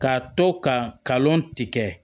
K'a to kalon tigɛ